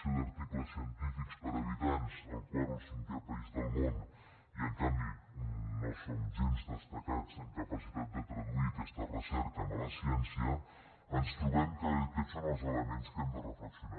som una potència en producció d’articles científics per habitant el quart o el cinquè país del món i en canvi no som gens destacats en capacitat de traduir aquesta recerca en la ciència ens trobem que aquests són els elements que hem de reflexionar